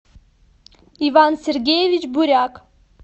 иван сергеевич буряк